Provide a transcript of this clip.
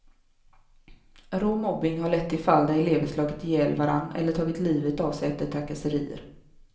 Rå mobbning har lett till fall där elever slagit ihjäl varandra eller tagit livet av sig efter trakasserier.